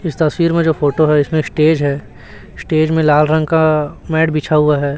इस तस्वीर में जो फोटो हैं इसमें स्टेज है स्टेज में लाल रंग का मैट बिछा हुआ है।